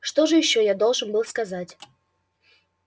что же ещё я должен был сказать